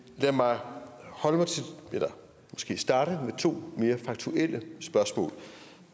lad mig starte med to mere faktuelle spørgsmål